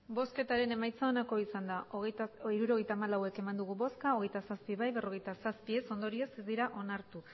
hirurogeita hamalau eman dugu bozka hogeita zazpi bai berrogeita zazpi ez ondorioz ez dira onartu